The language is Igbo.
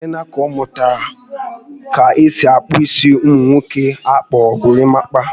Ọ teela nnukwu aka ọ mụtara ka-esi eke isi ụmụ nwoke ana akpọ gorimapa